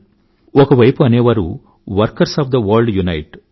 ఒకవైపు అనేవారు workers of the world unite